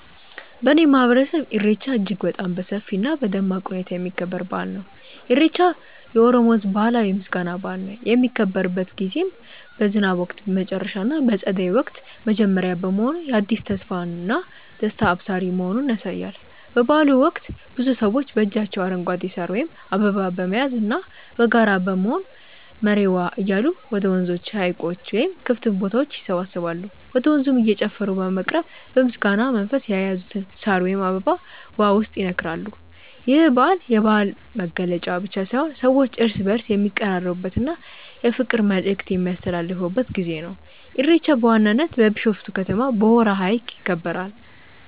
በእኔ ማህበረሰብ ኢሬቻ እጅግ በጣም በሰፊ እና በደማቅ ሁኔታ የሚከበር በአል ነው። ኢሬቻ የኦሮሞ ህዝብ ባህላዊ የምስጋና በአል ነው። የሚከበርበት ጊዜም በዝናብ ወቅት መጨረሻ እና በፀደይ ወቅት መጀመሪያ መሆኑ የአዲስ ተስፋና ደስታ አብሳሪ መሆኑን ያሳያል። በበአሉ ወቅት ብዙ ሰዎች በእጃቸው አረንጓዴ ሳር ወይም አበባ በመያዝና በጋራ በመሆን "መሬዎ" እያሉ ወደ ወንዞች፣ ሀይቆች ወይም ክፍት ቦታዎች ይሰባሰባሉ። ወደ ወንዙም እየጨፈሩ በመቅረብ በምስጋና መንፈስ የያዙትን ሳር ወይም አበባ ውሃው ውስጥ ይነክራሉ። ይህ በዓል የባህል መገለጫ ብቻ ሳይሆን ሰዎች እርስ በእርስ የሚቀራረቡበት እና የፍቅር መልዕክት የሚያስተላልፉበት ጊዜ ነው። ኢሬቻ በዋናነት በቢሾፍቱ ከተማ በሆራ ሀይቅ ይከበራል።